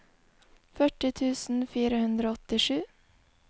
førti tusen fire hundre og åttisju